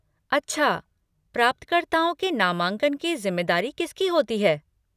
अच्छा, प्राप्तकर्ताओं के नामांकन की ज़िम्मेदारी किसकी होती है?